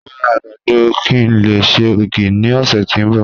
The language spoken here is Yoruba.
Mo ra agbado ki n le ṣe ogi ni ọsẹ ti n bọ